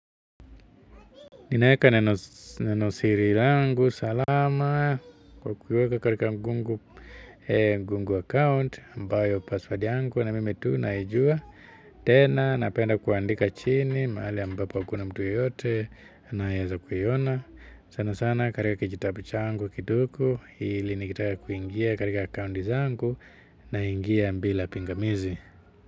Ninaeka neno siri langu, salama kwa kuweka katika google account ambayo password yangu na mimi tu naijua. Tena napenda kuandika chini mahali ambapo hakuna mtu yeyote anayeweza kuiona sana sana katika kijitabu changu kidogo ili nikitaka kuingia katika account zangu naingia bila pingamizi.